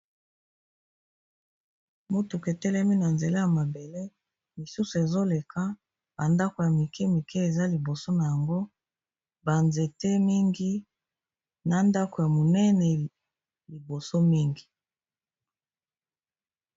Motuketelemi na nzela ya mabele misusu ezoleka bandako ya mike mike eza liboso na yango, banzete mingi na ndako ya monene liboso mingi.